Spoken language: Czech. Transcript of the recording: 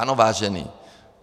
- Ano, vážení.